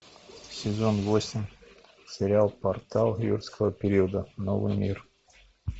сезон восемь сериал портал юрского периода новый мир